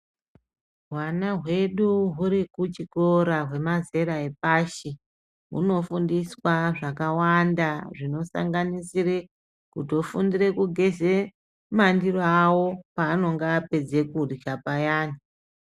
Hwana hwedu huri kuchikora hwemazera epashi hunofundiswa zvakawanda zvinosanganisire kutofundire kugeze mandiro awo pavanenge vapedza kurya payani.